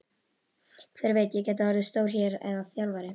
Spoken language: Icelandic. Hver veit, ég gæti orðið stjóri hér eða þjálfari?